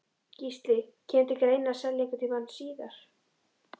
Gísli: Kemur til greina selja einhvern tímann síðar?